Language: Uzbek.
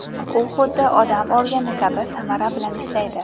U xuddi odam organi kabi samara bilan ishlaydi.